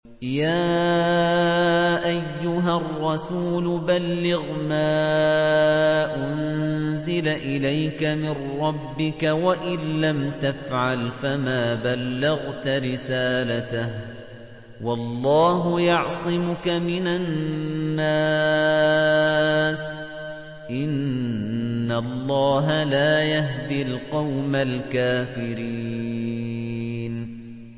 ۞ يَا أَيُّهَا الرَّسُولُ بَلِّغْ مَا أُنزِلَ إِلَيْكَ مِن رَّبِّكَ ۖ وَإِن لَّمْ تَفْعَلْ فَمَا بَلَّغْتَ رِسَالَتَهُ ۚ وَاللَّهُ يَعْصِمُكَ مِنَ النَّاسِ ۗ إِنَّ اللَّهَ لَا يَهْدِي الْقَوْمَ الْكَافِرِينَ